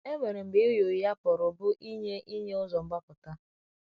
E nwere mgbe ịgha ụgha pụrụ bụ ịnye ịnye ụzo mgbapụta.